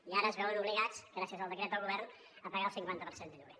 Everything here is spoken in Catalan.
i ara es veuen obligats gràcies al decret del govern a pagar el cinquanta per cent de lloguer